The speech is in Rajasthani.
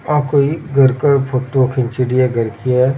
या कोई एक घर का फोटो खींचड़ी है घर की है।